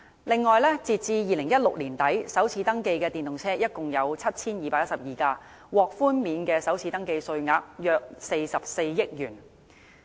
此外，截至2016年年底，首次登記的電動車共 7,212 輛，獲寬免的首次登記稅額約44億元。